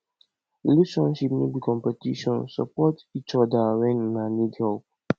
relationship no be competition support each other when una need help